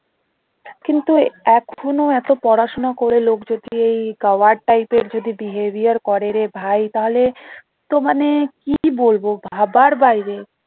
কিন্তু এখনও এত পড়া শোনা করে লোক যদি এই গাওয়ার type এর যদি behavior করে রে ভাই তাহলে তো মানে কি বলবো ভাবার বাইরে।